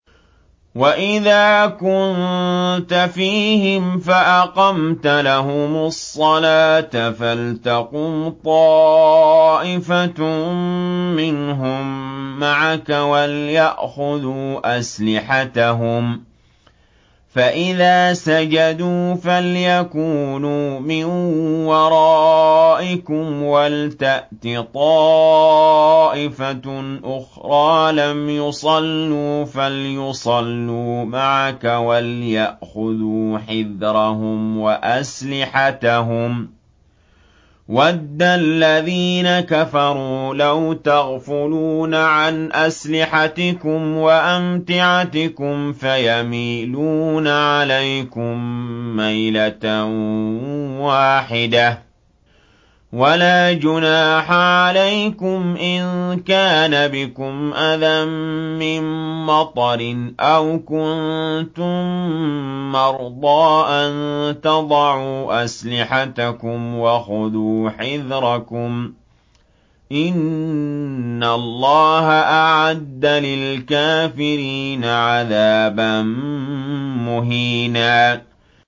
وَإِذَا كُنتَ فِيهِمْ فَأَقَمْتَ لَهُمُ الصَّلَاةَ فَلْتَقُمْ طَائِفَةٌ مِّنْهُم مَّعَكَ وَلْيَأْخُذُوا أَسْلِحَتَهُمْ فَإِذَا سَجَدُوا فَلْيَكُونُوا مِن وَرَائِكُمْ وَلْتَأْتِ طَائِفَةٌ أُخْرَىٰ لَمْ يُصَلُّوا فَلْيُصَلُّوا مَعَكَ وَلْيَأْخُذُوا حِذْرَهُمْ وَأَسْلِحَتَهُمْ ۗ وَدَّ الَّذِينَ كَفَرُوا لَوْ تَغْفُلُونَ عَنْ أَسْلِحَتِكُمْ وَأَمْتِعَتِكُمْ فَيَمِيلُونَ عَلَيْكُم مَّيْلَةً وَاحِدَةً ۚ وَلَا جُنَاحَ عَلَيْكُمْ إِن كَانَ بِكُمْ أَذًى مِّن مَّطَرٍ أَوْ كُنتُم مَّرْضَىٰ أَن تَضَعُوا أَسْلِحَتَكُمْ ۖ وَخُذُوا حِذْرَكُمْ ۗ إِنَّ اللَّهَ أَعَدَّ لِلْكَافِرِينَ عَذَابًا مُّهِينًا